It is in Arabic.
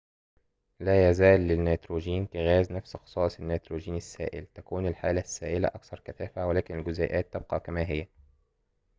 لا يزال للنيتروجين كغاز نفس خصائص النيتروجين السائل تكون الحالة السائلة أكثر كثافة ولكن الجزيئات تبقى كما هي